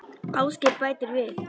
Ásgeir bætir við